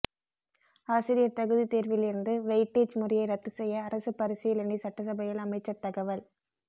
ஆசிரியர் தகுதித் தேர்வில் இருந்து வெயிட்டேஜ் முறையை ரத்து செய்ய அரசு பரிசீலனை சட்டசபையில் அமைச்சர் தகவல்